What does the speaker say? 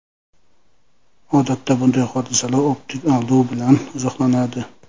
Odatda bunday hodisalar optik aldov bilan izohlanadi.